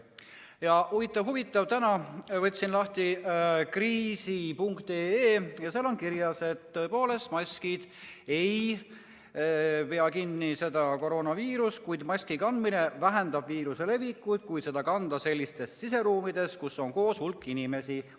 Ja huvitav-huvitav, täna võtsin lahti kriis.ee ja seal on kirjas, et tõepoolest maskid ei pea seda koroonaviirust kinni, kuid maski kandmine vähendab viiruse levikut, kui seda kanda siseruumides, kus on koos hulk inimesi.